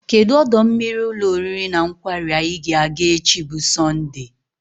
Kedụ ọdọ mmiri ụlọ oriri na nkwari anyị ga-aga echi bụ Sọndee?